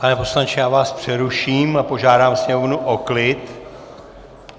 Pane poslanče, já vás přeruším a požádám sněmovnu o klid.